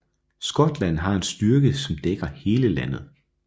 Skotland har en styrke som dækker hele landet